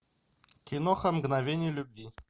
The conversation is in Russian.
киноха мгновение любви